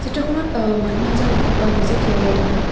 চিত্ৰখনত অ মানুহ এজন দেখা পোৱা গৈছে থিয় হৈ থকা।